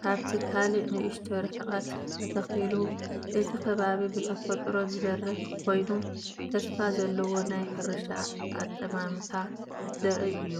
ካብቲ ካልእ ንእሽቶ ርሕቀት ተተኺሉ። እቲ ከባቢ ብተፈጥሮ ዝበርህ ኮይኑ ተስፋ ዘለዎ ናይ ሕርሻ ኣጠማምታ ዘርኢ እዩ።